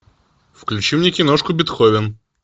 включи мне киношку бетховен